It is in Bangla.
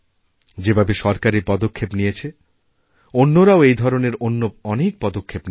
যেভাবে সরকার এই পদক্ষেপ নিয়েছেঅন্যরাও এই ধরনের অন্য অনেক পদক্ষেপ নিয়েছেন